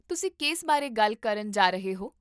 ਤੁਸੀਂ ਕਿਸ ਬਾਰੇ ਗੱਲ ਕਰਨ ਜਾ ਰਹੇ ਹੋ?